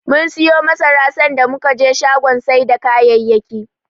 Mum siyo masara, sanda muka je shagon sai da kayayyaki.